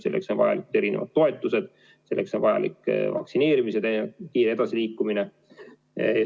Selleks on vajalikud erinevad toetused, selleks on vajalik vaktsineerimisega kiire edasiliikumine.